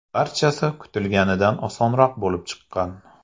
Barchasi kutilganidan osonroq bo‘lib chiqqan.